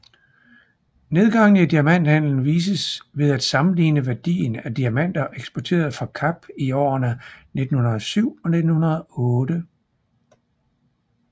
Nedgangen i diamanthandelen vises ved at sammenligne værdien af diamanter eksporteret fra Kap i årene 1907 og 1908